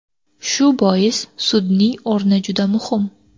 Shu bois sudning o‘rni juda muhim.